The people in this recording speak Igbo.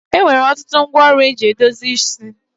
E nwere ọtụtụ ngwa ọrụ e ji edozi isi.